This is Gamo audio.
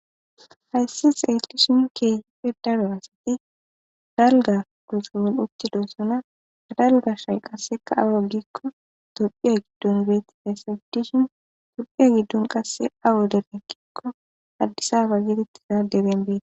Hayssi xeeli shinke hifhe daro asati dalga koxu mol uttido sona adalga shay qasseka awo gikko dophiya giddun beetti hayssa giddishin dophiya giddon qasse awo dere gikko addisafa gidettiza debenbena.